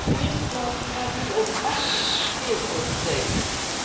Op de eerste plaats, het gaat nu over acht verkeersovertredingen.